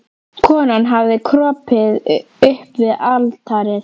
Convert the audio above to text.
Konan hafði kropið upp við altarið.